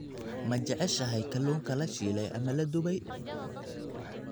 Ma jeceshahay kalluunka la shiilay ama la dubay?